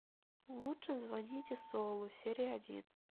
лучше звоните солу серия один